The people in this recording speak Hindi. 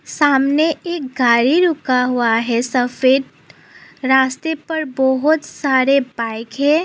सामने एक गाड़ी रुका हुआ है सफेद रास्ते पर बहुत सारे बाइक है।